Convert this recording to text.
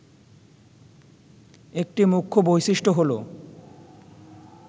একটি মুখ্য বৈশিষ্ট্য হলো